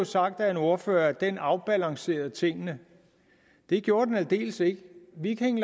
sagt af en ordfører at den afbalancerede tingene det gjorde den aldeles ikke viking